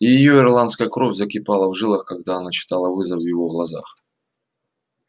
и её ирландская кровь закипала в жилах когда она читала вызов в его глазах